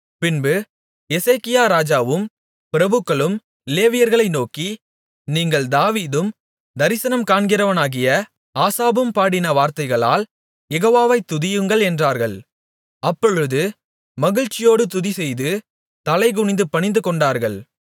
பின்பு எசேக்கியா ராஜாவும் பிரபுக்களும் லேவியர்களை நோக்கி நீங்கள் தாவீதும் தரிசனம் காண்கிறவனாகிய ஆசாபும் பாடின வார்த்தைகளால் யெகோவாவை துதியுங்கள் என்றார்கள் அப்பொழுது மகிழ்ச்சியோடு துதிசெய்து தலைகுனிந்து பணிந்துகொண்டார்கள்